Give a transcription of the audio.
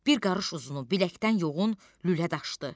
Bir qarış uzunu biləkdən yoğun lülə daşdı.